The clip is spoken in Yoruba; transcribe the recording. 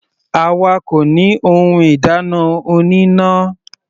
Àwa kò ní ohun ìdáná oníná.